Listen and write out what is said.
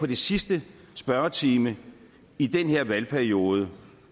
den sidste spørgetime i den her valgperiode